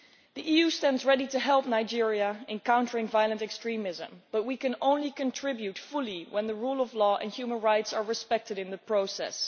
The EU stands ready to help Nigeria in countering violent extremism, but we can only contribute fully when the rule of law and human rights are respected in the process.